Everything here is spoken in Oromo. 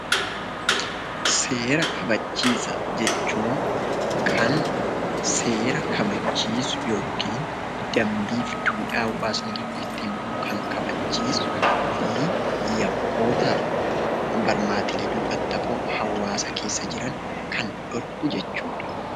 Seera kabachiisaa jechuun kan seera kabachiisu yookiin dambiif duudhaa hawaasni tokko ittiin bulu kan kabachiisuu fi yakkootaaf barmaatilee duubatti hafoo hawwaasa keessa jiran kan dhorku jechuudha.